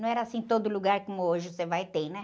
Não era assim, todo lugar como hoje você vai, tem, né?